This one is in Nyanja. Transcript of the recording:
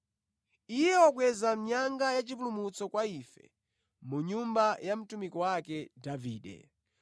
Iye wakweza nyanga yachipulumutso kwa ife mu nyumba ya mtumiki wake Davide.